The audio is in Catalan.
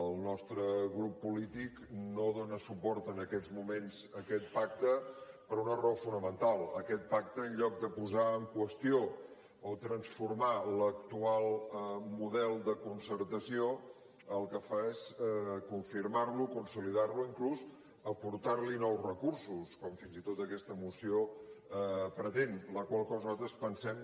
el nostre grup polític no dona suport en aquests moments a aquest pacte per una raó fonamental aquest pacte en lloc de posar en qüestió o transformar l’actual model de concertació el que fa és confirmar lo consolidar lo inclús aportar li nous recursos com fins i tot aquesta moció pretén la qual cosa nosaltres pensem